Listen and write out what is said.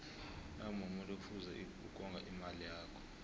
nawumumuntu kufuze ukonga imali yakho